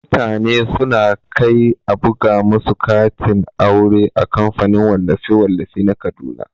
Mutane suna kai a buga musu katin aure a kamfanin wallafe-wallafe na kaduna.